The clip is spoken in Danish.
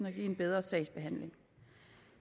og give en bedre sagsbehandling